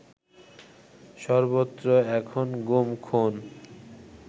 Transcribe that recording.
সর্বত্র এখন গুম, খুন